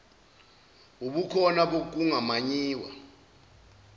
ubukhona bokunga mayinwa